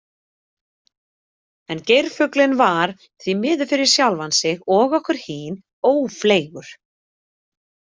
En geirfuglinn var, því miður fyrir sjálfan sig og okkur hin, ófleygur.